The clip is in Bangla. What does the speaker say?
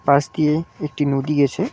পাশ দিয়ে একটি নদী গেছে।